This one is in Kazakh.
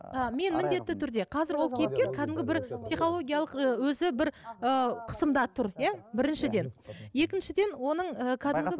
ы мен міндетті түрде қазір ол кейіпкер кәдімгі бір психологиялық ы өзі бір ы қысымда тұр иә біріншіден екіншіден оның ы кәдімгі